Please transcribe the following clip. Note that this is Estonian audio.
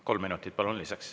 Kolm minutit lisaks, palun!